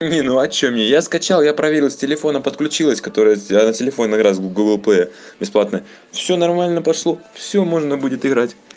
не ну а что мне я скачал я проверил с телефона подключилась который я на телефоне играю гугл плэй бесплатно всё нормально пошло всё можно будет играть